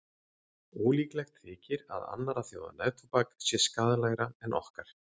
Ólíklegt þykir að annarra þjóða neftóbak sé skaðlegra en okkar.